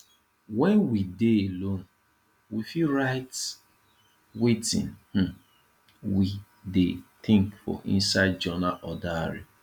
when we dey alone we fit write wetin um we dey think for inside journal or diary